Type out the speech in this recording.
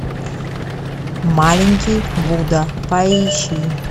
маленький будда поищи